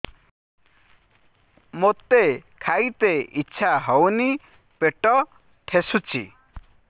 ମୋତେ ଖାଇତେ ଇଚ୍ଛା ହଉନି ପେଟ ଠେସୁଛି